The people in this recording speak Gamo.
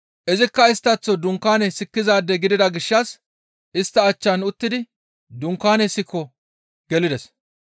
Izikka isttaththo dunkaane sikkizaade gidida gishshas istta achchan uttidi dunkaane sikon gelides.